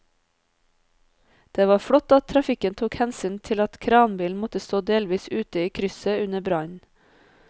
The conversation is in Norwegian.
Det var flott at trafikken tok hensyn til at kranbilen måtte stå delvis ute i krysset under brannen.